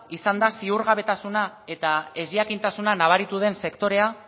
izan da ziurgabetasuna eta ezjakintasuna nabaritu den sektorea